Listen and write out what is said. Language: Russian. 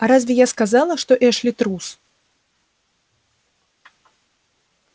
а разве я сказала что эшли трус